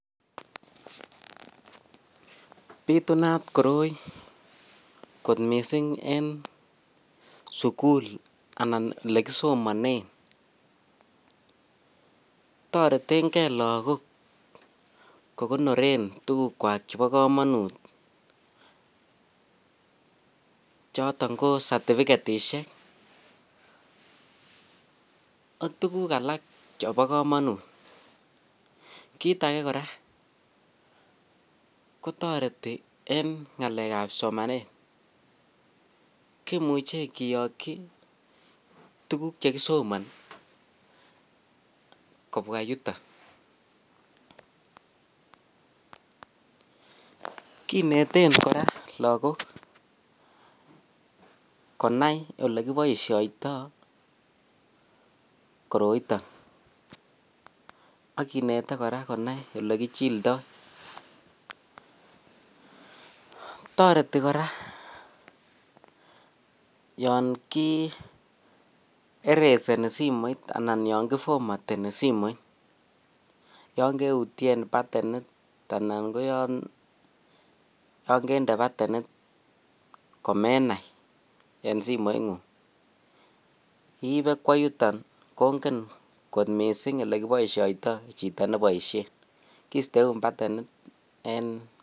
Bitunat koroi kot miisik en sukul anan le kisomanen toretengee logok kokonoren tugukwak chebo komonut choton ko satifikishek ak tuguk alak chebo komotun, kiit age koraa kotoreti en ngalekab somanet kimuche kiyoki kiituguk chekisomani kobwa yuto kineten koraa lagok konai yekiboishendo koroitoon ak kineten konai ole kichildo, toreti koraa yon kii ereseni simoit anan Yan kiformatenin simoit Yan keutien patenit anan koyon kende patenit komenai en simoit nguk iibe kwo yuton kogen kot miisik ole kiboisioytoo chito neboishien kii steun patenit en.